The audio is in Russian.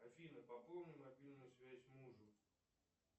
афина пополни мобильную связь мужу